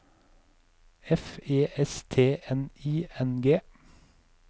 F E S T N I N G